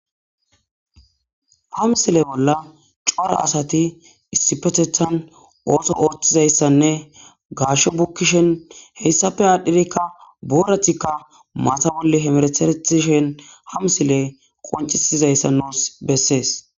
Hamsile bola c'ora asati issipetetan otho othizaysane gaasho bukishen heysape adhirika boratika mata bole hemereteretishen hamisile qoncisizaysa nus beses.